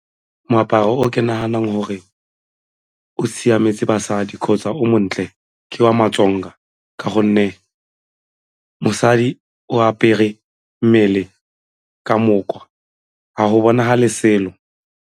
Moaparo o ke naganang gore o siametse basadi kgotsa o montle ke wa ma-Tsonga ka gonne mosadi o apere mmele ka moka ga go bonagale selo.